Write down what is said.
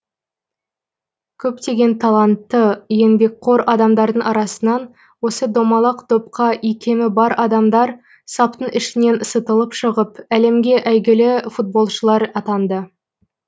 көптеген талантты еңбекқор адамдардың арасынан осы домалақ допқа икемі бар адамдар саптың ішінен сытылып шығып әлемге әйгілі футболшылар атанды